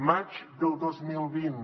maig del dos mil vint